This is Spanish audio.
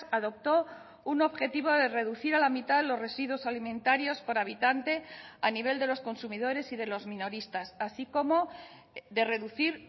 adoptó un objetivo de reducir a la mitad los residuos alimentarios por habitante a nivel de los consumidores y de los minoristas así como de reducir